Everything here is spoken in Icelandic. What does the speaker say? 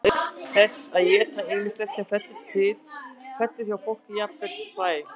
auk þess éta þeir ýmislegt sem til fellur hjá fólki og jafnvel hræ